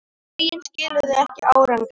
Lögin skiluðu ekki árangri